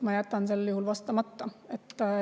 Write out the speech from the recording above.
Ma jätan sel juhul vastamata.